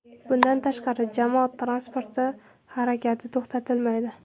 Bundan tashqari, jamoat transporti harakati to‘xtatilmaydi.